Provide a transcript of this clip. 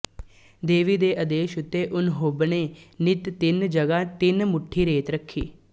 ਦੇਵੀ ਦੇ ਆਦੇਸ਼ ਉੱਤੇ ਉਂਨਹੋਂਬਨੇ ਨਿੱਤ ਤਿੰਨ ਜਗ੍ਹਾ ਤਿੰਨ ਮੁੱਠੀ ਰੇਤ ਰੱਖੀ